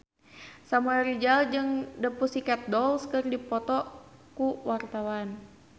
Samuel Rizal jeung The Pussycat Dolls keur dipoto ku wartawan